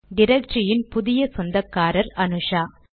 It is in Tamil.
டிரக்டரியின் புதிய சொந்தக்காரர் அனுஷா